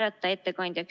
Aitäh!